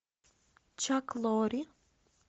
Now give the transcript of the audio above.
чак лорри